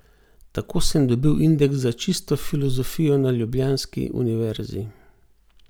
Tako sem dobil indeks za čisto filozofijo na ljubljanski univerzi.